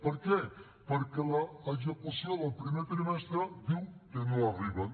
per què perquè l’execució del primer trimestre diu que no arriben